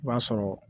I b'a sɔrɔ